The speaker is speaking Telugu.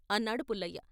అన్నాడు పుల్లయ్య.